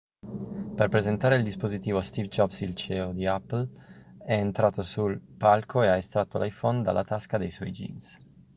per presentare il dispositivo steve jobs il ceo di apple è entrato sul palco e ha estratto l'iphone dalla tasca dei suoi jeans